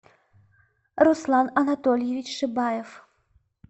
руслан анатольевич шибаев